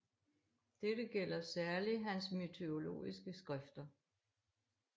Dette gælder særlig hans mytologiske skrifter